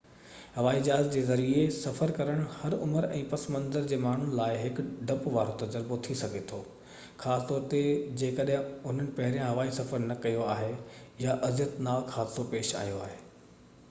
هوائي جهاز جي ذريعي سفر ڪرڻ هر عمر ۽ پس منظر جي ماڻهن جي لاءِ هڪ ڊپ وارو تجربو ٿي سگهي ٿو خاص طور تي جيڪڏهن انهن پهريان هوائي سفر نہ ڪيو آهي يا اذيتناڪ حادثو پيش آيو آهي